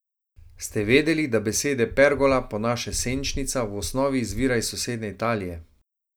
Ste vedeli, da beseda pergola, po naše senčnica, v osnovi izvira iz sosednje Italije.